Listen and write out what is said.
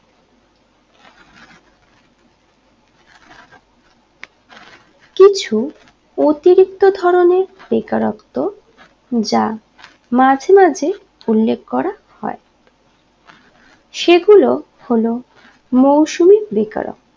কিছু অতিরিক্ত ধরণের বেকারত্ব যা মাঝে মাঝে উল্লেখ করা হয় সেগুলো হলো মৌসুমী বেকারত্ব